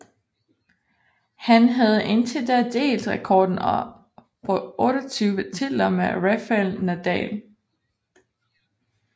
Han havde indtil da delt rekorden på 28 titler med Rafael Nadal